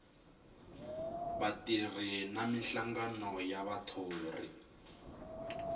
vatirhi na minhlangano ya vathori